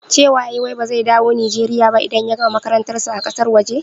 Cewa yayi wai ba zai dawo Nijeriya ba idan ya gama makarantar sa a ƙasar waje?